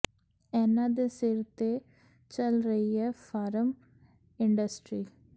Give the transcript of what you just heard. ਇਹਨਾਂ ਦੇ ਸਿਰ ਤੇ ਚੱਲ ਰਹੀ ਹੈ ਫਾਰਮ ਇੰਡਸਟਰੀ